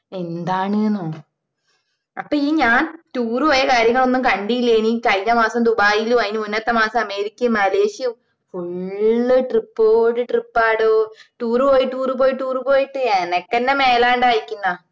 എന്താണ് ന്നോ അപ്പൊ ഇഞ് ഞാൻ tour പോയ കാര്യങ്ങളൊന്നും കണ്ടീല്ലേ ഇ കഴിഞ്ഞ മാസം ദുബൈയിലും അയിന് മുന്നത്തെ മാസം അമേരിക്കയും മലേഷ്യയും full trip ഓട് trip ആടോ tour പോയി tour പോയി tour പോയിട്ട് എനക്കെന്നെ മേലാണ്ടായിക്കണ